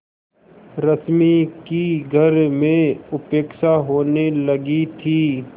रश्मि की घर में उपेक्षा होने लगी थी